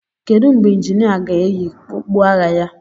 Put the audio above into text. Kedu mgbe injinia ga-eyi okpu agha ya?